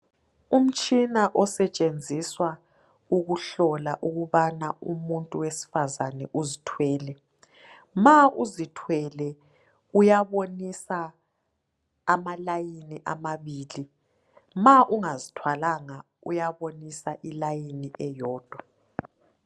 Umtshina osetshenziswa ukuhlola ukubana umuntu wesifazana uzithwele, ma uzithwele uyabonisa imizila emibili ma ungazithwalanga uyabonisa umzila owodwa.